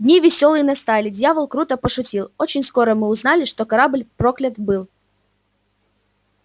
дни весёлые настали дьявол круто пошутил очень скоро мы узнали что корабль проклят был